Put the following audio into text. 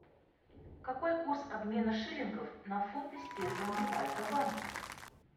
какой курс обмена шиллингов на фунты стерлинги в альфа банке